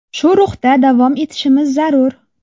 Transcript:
Shu ruhda davom etishimiz zarur.